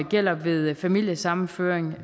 gælder ved familiesammenføring